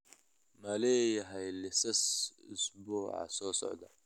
Ma leeyahay liisas usbuuca soo socda?